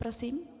Prosím?